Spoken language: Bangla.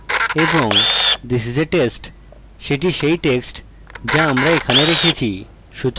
এবং this is a test সেটি সেই text যা আমি সেখানে রেখেছি